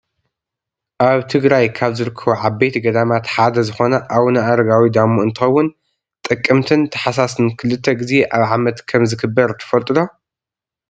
ኣብ ትግራይ ካብ ዝርከቡ ዓበይቲ ገዳማት ሓደ ዝኮነ ኣውነ ኣረጋዊ ዳሞ እንትከውን ጥቅምትን ታሕሳስን ክልተ ግዜ ኣብ ዓመት ከምዝክበር ትፈልጡ ዶ?